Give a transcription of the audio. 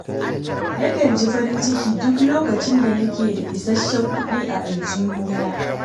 Nakan ji farin ciki duk lokacin da nake da isasshen kuɗi a aljihuna